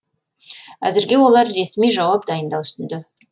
әзірге олар ресми жауап дайындау үстінде